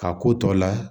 Ka ko tɔ la